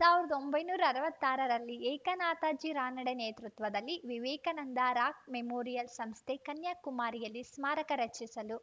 ಸಾವಿರದ ಒಂಬೈನೂರ ಅರವತ್ತ್ ಆರರಲ್ಲಿ ಏಕನಾಥಜಿ ರಾನಡೆ ನೇತೃತ್ವದಲ್ಲಿ ವಿವೇಕಾನಂದ ರಾ ಮೆಮೋರಿಯಲ್‌ ಸಂಸ್ಥೆ ಕನ್ಯಾಕುಮಾರಿಯಲ್ಲಿ ಸ್ಮಾರಕ ರಚಿಸಲು